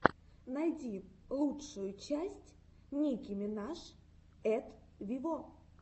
найди лучшую часть ники минаж эт виво